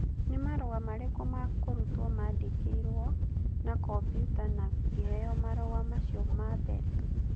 Nĩ marũa marĩkũ ma kũrutwo maandĩkirũo na kombiuta na ngĩheo marũa macio ma mbere?